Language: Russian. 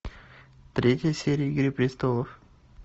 третья серия игры престолов